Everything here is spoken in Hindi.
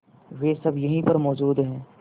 वे सब यहीं पर मौजूद है